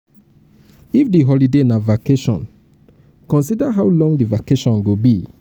if di holiday na vacation consider how um long di vacation go be